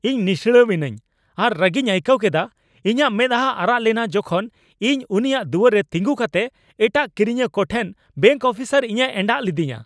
ᱤᱧ ᱱᱤᱥᱲᱟᱹᱣᱤᱱᱟᱹᱧ ᱟᱨ ᱨᱟᱹᱜᱤᱧ ᱟᱹᱭᱠᱟᱹᱣ ᱠᱮᱫᱟ, ᱤᱧᱟᱹᱜ ᱢᱮᱫᱦᱟ ᱟᱨᱟᱜ ᱞᱮᱱᱟ ᱡᱚᱠᱷᱮᱡ ᱤᱧ ᱩᱱᱤᱭᱟᱜ ᱫᱩᱣᱟᱹᱨ ᱨᱮ ᱛᱤᱸᱜᱩ ᱠᱟᱛᱮ ᱮᱴᱟᱜ ᱠᱤᱨᱤᱧᱤᱭᱟᱹ ᱠᱚᱴᱷᱮᱱ ᱵᱮᱝᱠ ᱚᱯᱷᱤᱥᱟᱨ ᱤᱧᱮ ᱮᱸᱰᱟᱜ ᱞᱤᱫᱤᱧᱟ ᱾